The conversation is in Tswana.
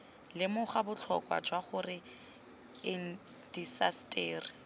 lemoga botlhokwa jwa gore indaseteri